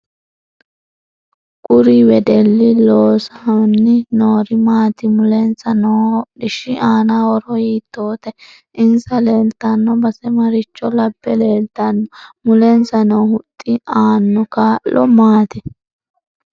Kuri wedelli loosanbi noori maati mulensa noo hodhishi aana horo hiitootte insa leelttanno base maricho labbe leelttano mulensa noo huxxi aanno kaa'lo maati